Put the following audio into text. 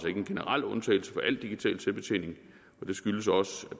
ikke en generel undtagelse fra alt digital selvbetjening og det skyldes også at